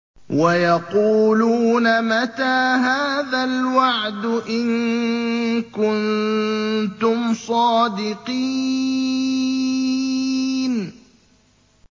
وَيَقُولُونَ مَتَىٰ هَٰذَا الْوَعْدُ إِن كُنتُمْ صَادِقِينَ